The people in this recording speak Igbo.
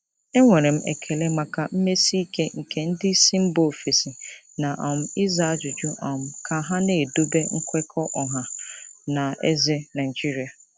Enwere m ekele maka mmesi ike nke ndị isi mba ofesi na um ịza ajụjụ um ka ha na-edobe nkwekọ ọha na eze Naijiria.